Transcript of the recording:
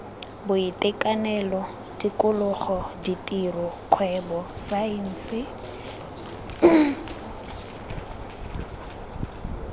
boitekanelo tikologo ditiro kgwebo saense